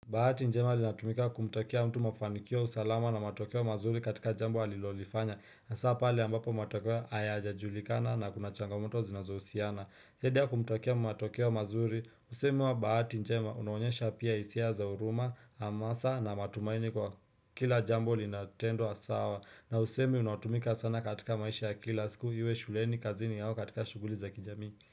Bahati njema linatumika kumtakia mtu mafanikio, usalama na matokeo mazuri katika jambo alilolifanya hasaa pale ambapo matokeo hayajajulikana na kuna changamoto zinazohusiana. Heda ya kumtakia matokeo mazuri, usemi wa bahati njema unaonyesha pia hisia za huruma, hamasa na matumaini kwa kila jambo linatendwa sawa na usemi unaotumika sana katika maisha ya kila siku iwe shuleni, kazini au katika shughuli za kijamii.